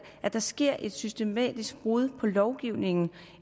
at der sker et systematisk brud på lovgivningen